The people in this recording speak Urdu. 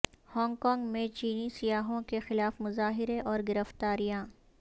ہانگ کانگ میں چینی سیاحوں کے خلاف مظاہرے اور گرفتاریاں